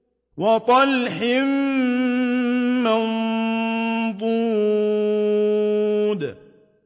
وَطَلْحٍ مَّنضُودٍ